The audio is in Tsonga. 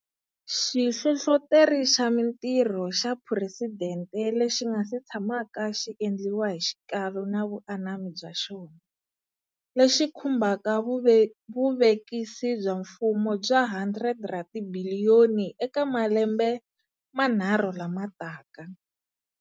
Xihlohloteri xa Mitirho xa Phuresidente lexi nga si tshamaka xi endliwa hi xikalu na vuanami bya xona, lexi khumbaka vuvekisi bya mfumo bya R100 ra tibiliyoni eka malembe manharhu lama taka.